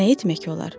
Nə etmək olar?